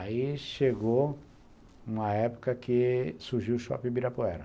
Aí chegou uma época que surgiu o Shopping Ibirapuera.